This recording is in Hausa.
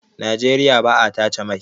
Nageriya ba a tace mai